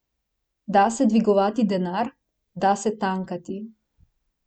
Da se dvigovati denar, da se tankati.